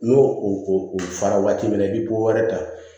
N'o o o fara waati min na i bɛ bɔ wɛrɛ ta